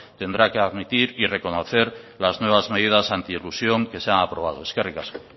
tendrá que admitir y reconocer las nuevas medidas anti elusión que se han aprobado eskerrik asko